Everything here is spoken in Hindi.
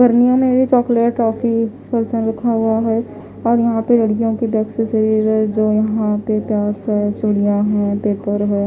घरनियों में चॉकलेट टॉफी फर्शन रखा हुआ है और यहां पर लड़कियों की एक्सेसरी है जो यहां पे प्यास है चूड़िया है पेपर है।